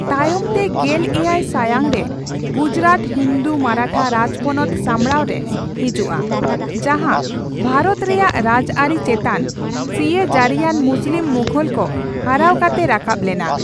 ᱛᱟᱭᱚᱢ ᱛᱮ ᱜᱮᱞᱮᱭᱟᱭ ᱥᱟᱭᱟᱝ ᱨᱮ, ᱜᱩᱡᱽᱨᱟᱴ ᱦᱤᱱᱫᱩ ᱢᱚᱨᱟᱴᱷᱟ ᱨᱟᱡᱽᱯᱚᱱᱚᱛ ᱥᱟᱢᱵᱲᱟᱣ ᱨᱮ ᱦᱤᱡᱩᱜᱼᱟ, ᱡᱟᱦᱟᱸ ᱵᱷᱟᱨᱛ ᱨᱮᱭᱟᱜ ᱨᱟᱡᱽᱟᱹᱨᱤ ᱪᱮᱛᱟᱱ ᱥᱤᱭᱟᱹᱡᱟᱹᱨᱤᱭᱟᱱ ᱢᱩᱥᱞᱤᱢ ᱢᱩᱜᱷᱚᱞ ᱠᱚ ᱦᱟᱨᱟᱣ ᱠᱟᱛᱮ ᱨᱟᱠᱟᱵ ᱞᱮᱱᱟ ᱾